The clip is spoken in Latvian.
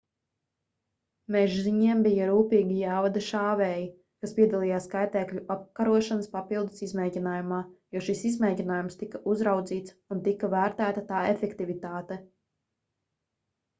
mežziņiem bija rūpīgi jāvada šāvēji kas piedalījās kaitēkļu apkarošanas papildu izmēģinājumā jo šis izmēģinājums tika uzraudzīts un tika vērtēta tā efektivitāte